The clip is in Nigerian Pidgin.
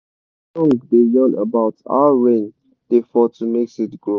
de song da yan about how rain da fall to make seed grow